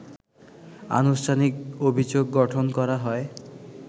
আনুষ্ঠানিক অভিযোগ গঠন করা হয়